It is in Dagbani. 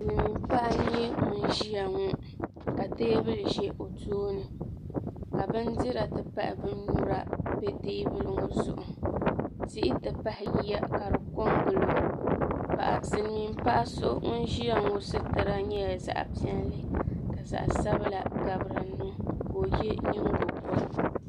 Silimiin paɣa n nyɛ ŋun ʒia ŋɔ ka teebuli ʒɛ o tooni ka bindira ti pahi binnyura be teebuli ŋɔ zuɣu tihi tipahi yiya ka di kongili o Silimiin paɣa so ŋun ʒia ŋɔ situra nyɛla zaɣa piɛlli ka zaɣa sabla gabi dinni ka o ye nyingoligu.